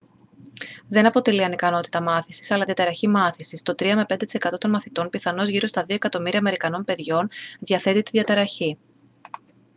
δεν αποτελεί ανικανότητα μάθησης αλλά διαταραχή μάθησης. «το 3-5% των μαθητών πιθανώς γύρω στα 2 εκατομμύρια αμερικανών παιδιών διαθέτει τη διαταραχή»